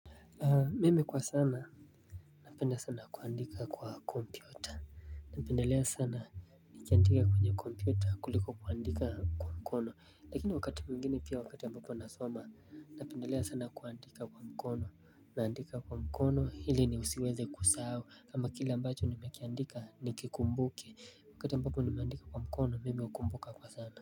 Mimi kwa sana napenda sana kuandika kwa kompyuta. Napendelea sana nikiandika kwenye kompyuta kuliko kuandika kwa mkono lakini wakati mwingine pia wakati ambapo nasoma napendelea sana kuandika kwa mkono naandika kwa mkono ili nisiweze kusahau kama kile ambacho nimekiandika nikikumbuke wakati ambapo nimeandika kwa mkono mimi hukumbuka kwa sana.